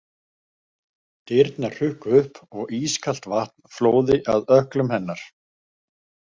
Dyrnar hrukku upp og ískalt vatn flóði að ökklum hennar.